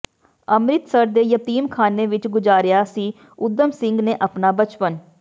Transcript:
ਅੰਮ੍ਰਿਤਸਰ ਦੇ ਯਤੀਮਖ਼ਾਨੇ ਵਿੱਚ ਗੁਜ਼ਾਰਿਆ ਸੀ ਊਧਮ ਸਿੰਘ ਨੇ ਆਪਣਾ ਬਚਪਨ